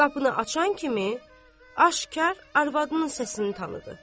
Qapını açan kimi, aşkar arvadının səsini tanıdı.